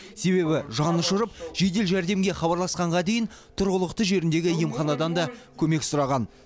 себебі жанұшырып жедел жәрдемге хабарласқанға дейін тұрғылықты жеріндегі емханадан да көмек сұраған